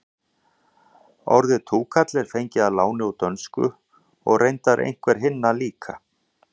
orðið túkall er fengið að láni úr dönsku og reyndar einhver hinna líka